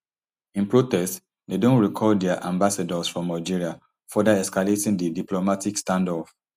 in protest dem don recall dia ambassadors from algeria further escalating di diplomatic standoff